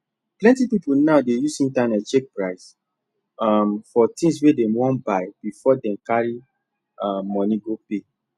plenty people now dey use internet check price um for things wey dem wan buy before dem carry um money go pay